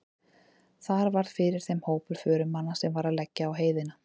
Þar varð fyrir þeim hópur förumanna sem var að leggja á heiðina.